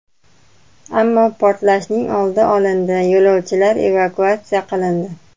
Ammo portlashning oldi olindi, yo‘lovchilar evakuatsiya qilindi.